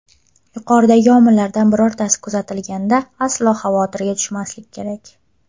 Yuqoridagi omillardan birortasi kuzatilganda, aslo xavotirga tushmaslik kerak.